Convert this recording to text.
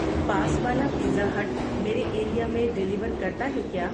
پاس والا pizza hut میرے area میں ڈلیور کرتا ہے کیا